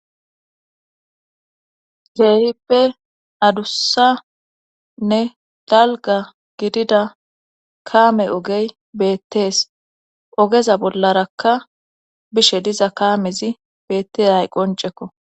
Geehippe adussanne dalga gidida kaame ogey beettees ogeza bollarakka bishe diza kaamezi beettes hay qoncekko.